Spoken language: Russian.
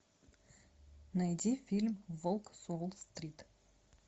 найди фильм волк с уолл стрит